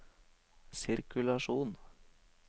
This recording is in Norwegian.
sirkulasjon